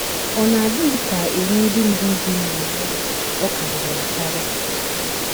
Ọ̀ NA - ADỊ gị ka iwu ndị mụrụ gị na - enye gị ọ̀ karịrị akarị?